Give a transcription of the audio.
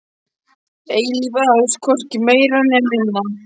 Eilíf ást, hvorki meira né minna.